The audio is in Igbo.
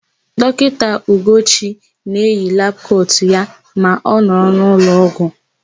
Dọkịta Ugochi na-eyi labụ kotu ya ma ọ nọrọ n'ụlọọgwụ.